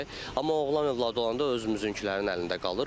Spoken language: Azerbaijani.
Amma oğlan övladı olanda özümüzünkülərin əlində qalır.